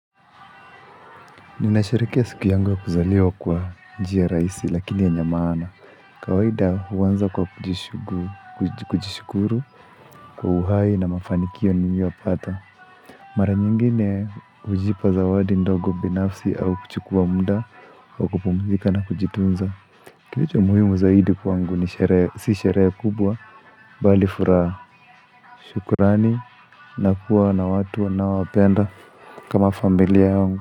Ninashariki siku yangu ya kuzaliwa kwa njia raisi lakini yenye maana. Kwa kawaida huanza kwa kujishukuru kwa uhai na mafanikio niliyopata. Mara nyingine hujipa zawadi ndogo binafsi au kuchukua muda wa kupumzika na kujitunza. Kilicho muhimu zaidi kwangu ni sherehe si sherehe kubwa bali furaha shukrani na kuwa na watu unaowapenda kama familia yungu.